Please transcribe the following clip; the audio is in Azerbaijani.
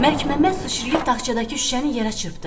Məlikməmməd sıçrayıb taxçadakı şüşəni yerə çırpdı.